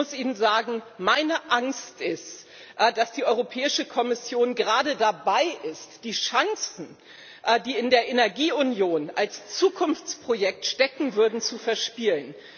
Und ich muss Ihnen sagen Meine Angst ist, dass die Europäische Kommission gerade dabei ist, die Chancen, die in der Energieunion als Zukunftsprojekt stecken würden, zu verspielen.